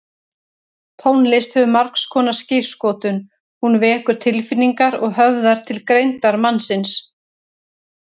Tónlist hefur margskonar skírskotun, hún vekur tilfinningar og höfðar til greindar mannsins.